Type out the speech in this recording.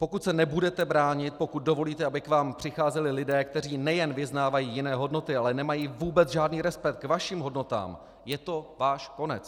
Pokud se nebudete bránit, pokud dovolíte, aby k vám přicházeli lidé, kteří nejen vyznávají jiné hodnoty, ale nemají vůbec žádný respekt k vašim hodnotám, je to váš konec.